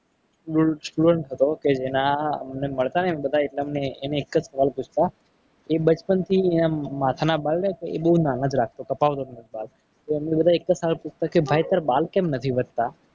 Student હતો. કે જેના એમને મળતાને બધા એટલે અમને એક જ સવાલ પૂછતો. એ બચપણથી જ માથાના બાલ એમ બહુ નાના જ રાખતો. કપાવતો જ અમે બધા એક જ સવાલ પૂછતા કે ભાઈ તારા બાલ કેમ નથી વધતા.